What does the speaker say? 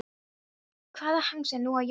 Hvaða hangs er nú á Jónsa?